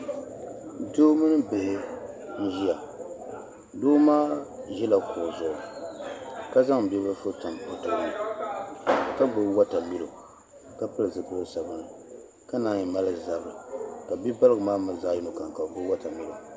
doo mini bihi n-ʒia doo maa ʒila kuɣu zuɣu ka zaŋ bibilifu tam o tooni ka gbubi watamilo ka pili zipil' sabilinli ka naan yi mali zabiri ka bibaligu maa mi zaɣ' yini kam ka bɛ gbubi watamilo